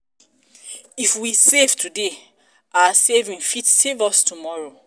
if we save today our saving fit save us tomorrow